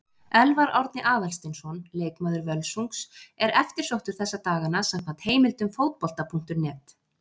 Elfar Árni Aðalsteinsson, leikmaður Völsungs, er eftirsóttur þessa dagana samkvæmt heimildum Fótbolta.net.